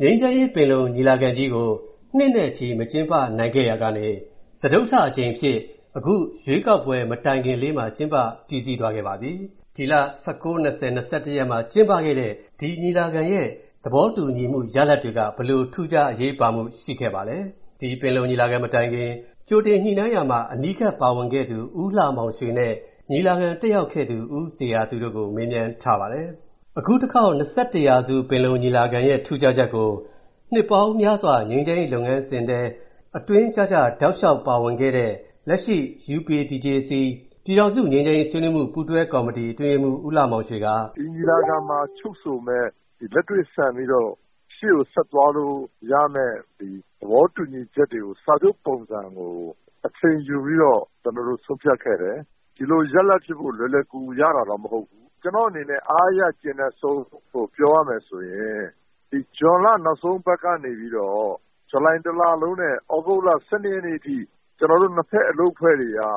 ငြိမ်းချမ်းရေး ပင်လုံညီလာခံကြီးကို နှစ်နဲ့ချီ မကျင်းပနိုင်ခဲ့ရာကနေ၊ စတုတ္ထအကြိမ်အဖြစ် အခု ရွေးကောက်ပွဲမတိုင်ခင်လေးမှာ ကျင်းပပြီးစီးသွားခဲ့ပါပြီ။ ဒီလ ရက်မှာ ကျင်းပခဲ့တဲ့ ဒီညီလာခံရဲ့ သဘောတူရလဒ်တွေက ဘယ်လို ထူးခြားအရေးပါမူရှိပါလဲ။ ဒီညီလာခံမတိုင်ခင် ကြိုတင်ညှိုနှိုင်းရာမှာ အနီးကပ်ပါဝင်ခဲ့သူ ဦးလှမောင်ရွှေနဲ့၊ ညီလာခံတက်ရောက်ခဲ့သူ ဦးဇေယျသူတို့ကို ကိုဝင်းမင်းက မေးမြန်းထားပါတယ်။ ရာစု ပင်လုံညီလာခံကြီးရဲ့ ထူးခြားချက်ကို၊ နှစ်ပေါင်းများစွာ ငြိမ်းချမ်ရေး လုပ်ငန်းစဉ်ထဲမှာ တောက်လျှောက် ထဲထဲဝင်ဝင်ပါခဲ့သူ၊ UPDJC ပြည်ထောင်စု ငြိမ်းချမ်းရေးဆွေးနွေးမူပူးတွဲကော်မတီ အတွင်းရေးမှူး ဦးလှမောင်ရွှေက “ဒီညီလာခံမှာ ချုပ်ဆိုမယ့် လက်တွေ့ဆန်ပြီးတော့ ရှေ.ကိုဆက်သွားလို့ရမယ့် ဒီသဘောတူညီချက်တွေကို စာချုပ်ပုံစံ အချိန်ယူပြီးတော့ ဆုံးဖြတ်ခဲ့တယ်။ ဒီလိုရလဒ်ဖြစ်ဖို့ လွယ်လွယ်ကူကူတော့ ရတာ မဟုတ်ဘူး။ ကျွန်တော့အနေနဲ့ အားအရ ကျေနပ်ဆုံးကို ပြောရမယ်ဆိုရင်၊ ဒီ ဇွန်လ နောက်ဆုံးပတ်ကနေပြီးတော့၊ ဇူလိုင်တစ်လလုံးနဲ့ ဒီ သြဂုတ် ရက်နေ့အထိ ကျွန်တော်တို့ အလုပ်အဖွဲ့တွေက၊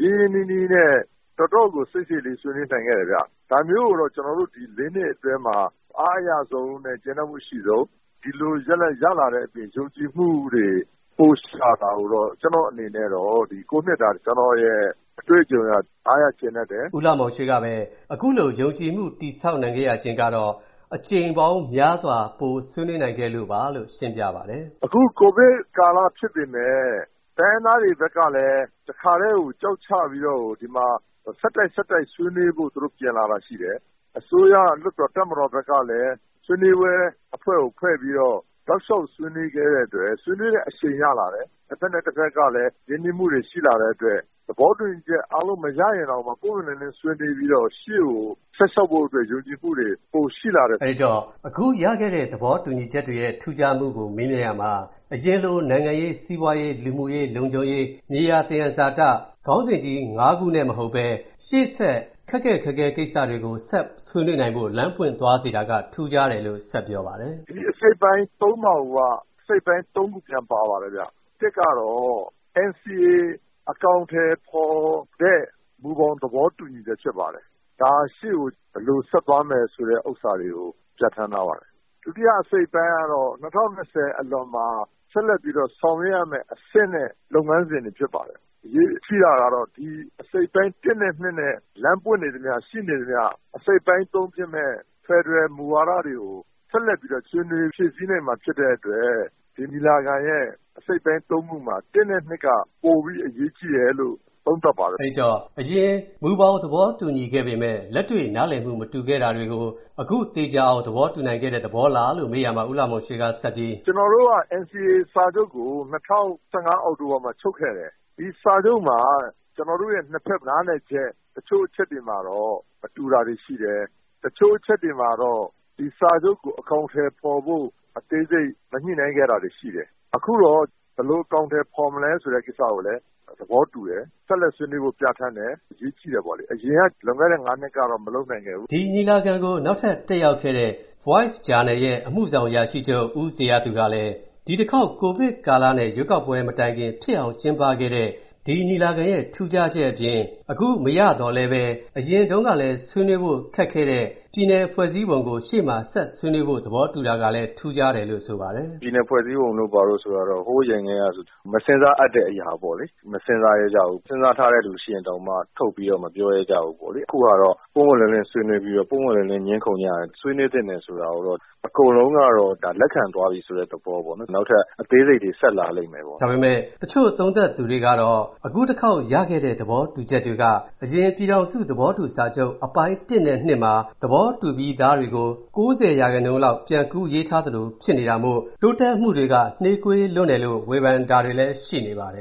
ရင်းရင်းနှီးနှီးနဲ့ တော်တော့ကို စိတ်စိတ်လေး ဆွေးနွေးနိုင်ခဲ့တယ်ဗျ။ ဒါမျိုးကိုတော့ ဒီ နှစ်အတွင်းမှာ အားအရဆုံးနဲ့ ကျေနပ်မူအရှိဆုံး။ ဒီလိုရလဒ်ရလာတဲ့အပြင်၊ ယုံကြည်မူတွေ ပိုရှိလာတာကိုတော့၊ ကျွန်တော့အနေနဲ့၊ ဒီ နှစ်တာ အတွေ့အကြုံအရ အားရကျေနပ်တယ်။” ဦးလှမောင်ရွှေကပဲ အခုလို ယုံကြည်မူတည်ဆောက်နိုင်ခဲ့တာကတော့ အကြိမ်ပေါင်းများစွာ ပိုဆွေးနွေးနိုင်ခဲ့လို့ပါလို့ ရှင်းပြပါတယ်။ “အခု ကိုဗစ်ကာလဖြစ်ပေမဲ့ တိုင်းရင်းသားတွေဘက်ကလည်း တစ်ခါထဲကို ကျောက်ချပြီး၊ ဒီမှာ ဆက်တိုက် ဆက်တိုက် ဆွေးနွေးဖို့ ပြင်လာတာရှိတယ်။ အစိုးရ၊ တပ်မတော်၊ လွှတ်တော်ဘက်ကလည်း ဆွေးနွေးပွဲအဖွဲကိုဖွဲ့ပြီးတော့၊ တောက်လျှောက် ဆွေးနွေးခဲ့တဲ့အတွက် ဆွေးနွေးပွဲ အရှိန်ရလာတယ်။ တစ်ဘက်နဲ့တစ်ဘက်ကလည်း ရင်းနှီးမူတွေရှိလာတဲ့အတွက်၊ သဘောတူညီချက်တွေအားလုံးမရရင်တောင်မှ ပွင့်ပွင့်လင်းလင်းဆွေးနွေးပြီးတော့၊ အရှေ.ကိုဆက်လျှောက်ဖို့အတွက် ယုံကြည်မူတွေ ပိုရှိလာတယ်။” အဲ့ဒီတော့ အခုရလာခဲ့တဲ့ သဘောတူညီချက်တွေရဲ့ ထူးခြားမူကို မေးရာမှာတော့ အရင်လို နိုင်ငံရေး၊ စီးပွားရေး၊ လူမူရေး၊ လုံခြုံရေး၊ မြေယာသယံဇာတ ခေါင်းစဉ်ကြီး ခုနဲ့ မဟုတ်တော့ဘဲ၊ ရှေ.ဆက် ပိုခက်ခက်ခဲခဲတွေဆွေးနွေးဖို့ အသင့်ဖြစ်သွားစေတာက ထူးခြားတယ်လို့ ခုလိုဆက်ပြောပါတယ်။ “ဒီအစိတ်အပိုင်း မှာကိုက အစိတ်အပိုင်း ခု ပြန်ပါပါတယ်ဗျ။ ကတော့ NCA အကောင်အထည် ဖော်တဲ့ မူဘောင်သဘောတူညီချက်ဖြစ်ပါတယ်။ ဒါဟာ ရှေ့ကို ဘယ်လိုဆက်သွားမယ် ဆိုတဲ့ဥစ္စာတွေကို ပြဌာန်းထားပါတယ်။ ဒုတိယ အစိတ်အပိုင်းကတော့ ၂၀၂၀ ခုနှစ်အလွန်မှာ ဆက်လက်ပြီးတော့ ဆောင်ရွက်ရမယ့် အဆင့်နဲ့လုပ်ငန်းစဉ်တွေ ဖြစ်ပါတယ်။ အရေးကြီးတာကတော့ ဒီ အစိတ်အပိုင်း နဲ့ နဲ့ လမ်းပွင့်နေသမျှ၊ ရှိနေသမျှ၊ နောင် အစိတ်အပိုင်း ဖြစ်မယ့် ဖယ်ဒရယ်မူဝါဒတွေကို ဆက်လက်ပြီးတော့ ဆွေးနွေးဖြည့်ဆည်းနိုင်မှာဖြစ်တဲ့အတွက်၊ ဒီအစိတ်အပိုင်း ခုမှာ၊ နဲ့ က ပိုပြီးတော့ အရေးကြီးတယ်လို့ သုံးသပ်ပါတယ်။” အဲ့ဒီတော့ အရင်မူဘောင်သဘောတူညီခဲ့ပေမဲ့ လက်တွေ့နားလည်မူ မတူခဲ့တာတွေကို၊ အခု သေချာအောင် သဘောတူနိုင်ခဲ့တဲ့ သဘောလားလို့ မေးရာမှာ ဦးလှမောင်ရွှေကဆက်ပြီး “ကျွန်တော်တို့က NCA စာချုပ်ကို ၂၀၁၅ အောက်တိုဘာမှာ ချုပ်ခဲ့တယ်။ ဒီစာချုပ်မှာ ကျွန်တော်တို့ရဲ့ နှစ်ဖက် နားလည်ချက် တချို.အချက်တွေမှာတော့၊ နားလည်မူ မတူတာတွေရှိခဲ့တယ်၊ တချို.အချက်တွေမှာတော့ ဒီစာချုပ်ကို အကောင်အထည်ဖော်ဖို့ အသေးစိတ်မညှိနှိုင်းခဲ့တာတွေရှိတယ်။ အခုတော့ ဘယ်လို အကောင်အထည်ဖော်မလဲ ဆိုတဲ့ကိစ္စကိုလည်း သဘောတူတယ်၊ ဆက်လက်ဆွေးနွေးဖို့ ပြဌာန်းတယ်။ အရေးကြီးတယ်ပေါ့လေ၊ လွန်ခဲ့တဲ့ နှစ်က မလုပ်နိုင်ခဲ့ဘူး။” ဒီညီလာခံကို နောက်ထပ်တက်ရောက်ခဲ့တဲ့ The Voice ဂျာနယ်ရဲ့ အမူဆောင် အရာရှိချုပ် ဦးဇေယျသူကလည်း၊ ဒီတစ်ခေါက် ကိုဗစ်ကာလနဲ့ ရွေးကောက်ပွဲမတိုင်ခင် ဖြစ်အောင်ကျင်းပခဲ့တဲ့ ဒီညီလာခံရဲ့ ထူးခြားချက်အပြင်၊ အခုမရသော်လည်းဘဲ၊ အရင်တုန်းကလည်းဆွေးနွေးဖို့ ခက်ခဲ့တဲ့၊ ပြည်နယ်ဖွဲ့စည်းပုံကို ရှေ.မှာဆက်ဆွေးနွေးဖို့ သဘောတူတာကလည်း ထူးခြားတယ်လို့ ဆိုပါတယ်။ “ပြည်နယ်ဖွဲ့စည်းပုံတို့ ဘာတို့ဆိုတာက ဟိုးအရင်ထဲကဆို မစဉ်းစားအပ်တဲ့အရာပေါ့၊ မစဉ်းစားရဲကြဘူး။ စဉ်းစားထားတဲ့သူရှိရင်တောင်မှ၊ ထုတ်ပြီးတော့ မပြောရဲကြဘူးပေါ့လေ။ အခုဟာကတော့ ပွင့်ပွင့်လင်းလင်းဆွေးနွေးပြီးတော့၊ ပွင့်ပွင့်လင်းလင်း ငြင်းခုံကြတယ်။ ဆွေးနွေးသင့်တယ်ဆိုတာကိုတော့ အကုန်လုံးက ဒါ လက်ခံသွားပြီဆိုတဲ့ သဘောပေါ့နော်။ နောက်ထပ်အသေးစိတ်တွေ ဆက်လာလိမ့်မယ်ပေါ့။ ဒါပေမဲ့ တချို့သုံးသပ်သူတွေကလည်း အခုတစ်ခေါက်ရခဲ့တဲ့ သဘောတူချက်တွေက၊ အရင် ပြည်ထောင်စုသဘောတူစာချုပ် အပိုင်း နဲ့ မှာ သဘောတူပြီးသားတွေကို၊ ၉၀% လောက် ပြန်ကူးရေးထားသလိုဖြစ်နေတာမို့၊ တိုးတက်မူတွေက နှေးကွေးလွန်းတယ်လို့ ဝေဖန်တာတွေလည်းရှိနေပါတယ်